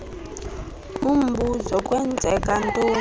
umbuzo kwenzeka ntoni